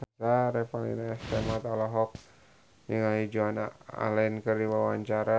Revalina S. Temat olohok ningali Joan Allen keur diwawancara